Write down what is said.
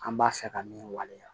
An b'a fɛ ka min waleya